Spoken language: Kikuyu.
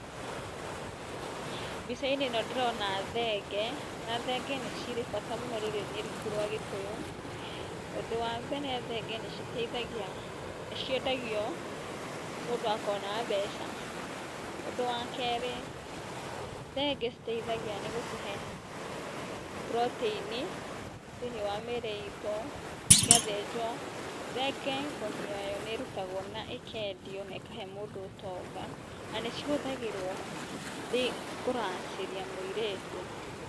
Mbicainĩ ĩno ndĩrona thenge na thenge nĩ cirĩ bata mũnene mũno rũrĩrĩ-inĩ rwitũ rwa Gĩkũyũ. Ũndũ wa mbere, thenge nĩ citeithagia, nĩ ciendagio, mũndũ agakorwo na mbeca. Ũndũ wa keerĩ, thenge citeithagia nĩ gũtũhe protĩini thĩiniĩ wa mĩĩrĩ itũ ciathinjwo. Thenge, ngothi yaayo nĩĩrutagwo na ĩkendio na ĩkahe mũndũ ũtonga na nĩ cihũthagĩrwo kũracĩria mũirĩtu.